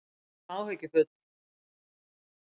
Við erum áhyggjufull